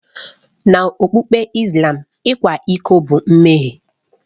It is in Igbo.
N'okpukpe Islam, ịkwa iko bụ mmehie.